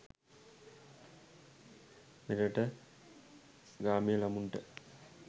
මෙරට ග්‍රාමීය ළමුන්ට